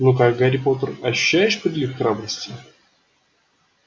ну как гарри поттер ощущаешь прилив храбрости